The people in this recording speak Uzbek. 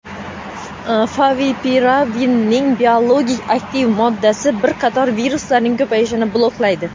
"Favipiravir"ning biologik aktiv moddasi bir qator viruslarning ko‘payishini bloklaydi.